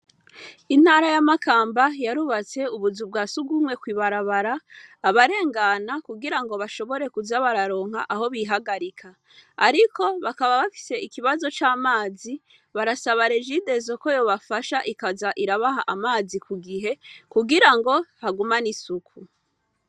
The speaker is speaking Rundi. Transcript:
Intara ya Makamba, yarubatse ubuzu bwa surwumwe kwibarabara, kugirango abarengana ngo bashobore kuza bararonka aho bihagarika. Ariko bakaba bafise ikibazo c' amazi, barasaba Regidezo ko yoza irabaha amazi Ku gihe, kugirango hagumane isuku.